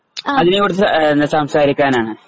അതിനെക്കുറിച്ചു എ സംസാരിക്കാനാണ്